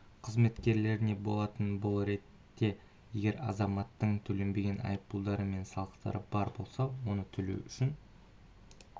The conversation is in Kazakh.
қызметкеріне болатын бұл ретте егер азаматтың төленбеген айыппұлдары мен салықтары бар болса оны төлеу үшін